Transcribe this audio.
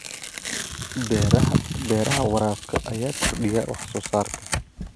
Beeraha Beeraha waraabka ayaa kordhiya wax soo saarka.